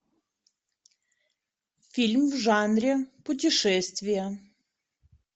фильм в жанре путешествия